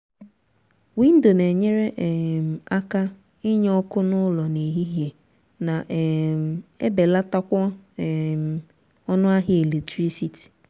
windo na enyere um aka inye ọkụ n'ụlọ n'ehihie na um ebelatakwa um ọnụ ahịa eletirisiti